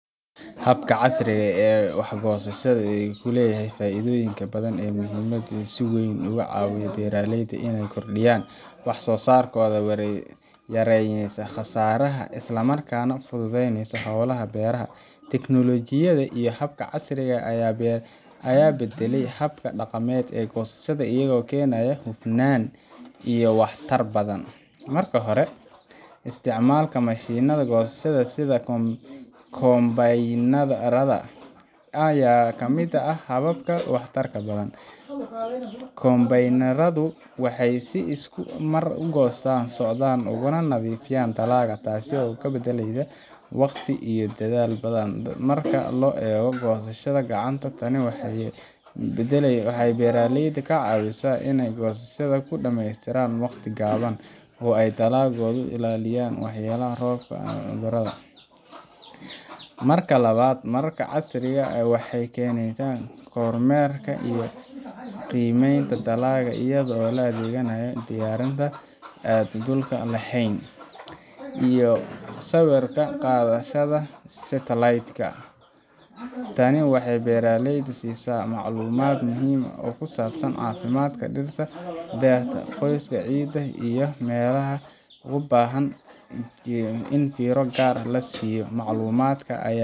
Habka casriga ah ee wax goosashada wuxuu leeyahay faa’iidooyin badan oo muhiim ah oo si wayn uga caawiya beeraleyda inay kordhiyaan waxsoosaarka, yareeyaan khasaaraha, isla markaana u fududeeyaan howlaha beeraha. Teknolojiyadda iyo qalabka casriga ah ayaa beddelay hababka dhaqameed ee goosashada, iyagoo keenaya hufnaan iyo waxtar badan. Marka hore, isticmaalka mashiinada goosashada sida kombaynarada ayaa ah mid ka mid ah hababka ugu waxtarka badan. Kombaynaradu waxay si isku mar ah u goostaan, u soocaan, ugana nadiifiyaan dalagga, taasoo badbaadinaysa waqti iyo dadaal badan marka loo eego goosashada gacanta. Tani waxay beeraleyda ka caawisaa inay goosashada ku dhammeystaan waqti gaaban oo ay dalagooda ka ilaaliyaan waxyeelada roobka ama cudurada. Marka labaad, hababka casriga ah waxay keenaan kormeerka iyo qiimaynta dalagga iyadoo la adeegsanayo diyaaradaha aan duuliyaha lahayn iyo sawir-qaadayaasha satelliitka. Tani waxay beeraleyda siisaa macluumaad muhiim ah oo ku saabsan caafimaadka dhirta, heerka qoyaanka ciidda, iyo meelaha u baahan in fiiro gaar ah la siiyo. Macluumaadkan ayaa